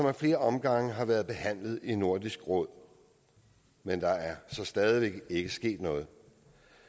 ad flere omgange været behandlet i nordisk råd men der er så stadig væk ikke sket noget